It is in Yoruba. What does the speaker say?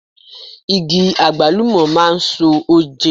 Igi Àgbálùmọ̀ máa ń so oje.